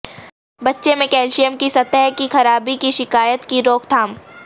بچے میں کیلشیم کی سطح کی خرابی کی شکایت کی روک تھام